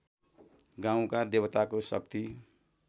गाउँका देवताको शक्ति